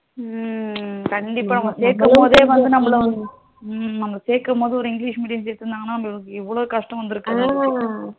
ஹம் கண்டிப்பா சேர்க்கும் போதே வந்து நம்மள ஹம் சேர்க்கும் போது ஒரு english medium சேரத்துருந்தாங்கனா நம்மளுக்கு இவலோ கஷ்டம் வந்துருக்காது அஹ்